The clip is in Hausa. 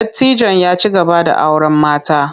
Dattijon ya ci gaba da auren mata.